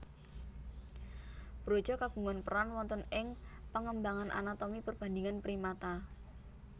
Broca kagungan peran wonten ing pengembangan anatomi perbandingan primata